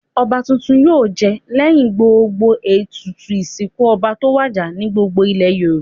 Ọba tuntun yóò jẹ lẹ́yìn gbogbo ètùtù ìsìkún ọba tó wàjà ní gbogbo ilẹ̀ Yorùbá.